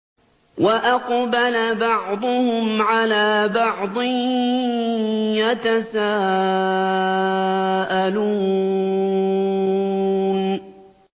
وَأَقْبَلَ بَعْضُهُمْ عَلَىٰ بَعْضٍ يَتَسَاءَلُونَ